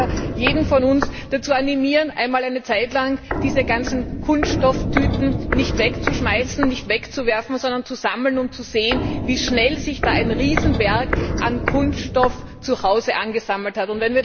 Ich kann nur jeden von uns dazu animieren, einmal eine Zeit lang diese ganzen Kunststofftüten nicht wegzuwerfen, sondern zu sammeln und zu sehen, wie schnell sich da ein Riesenberg an Kunststoff zuhause angesammelt hat.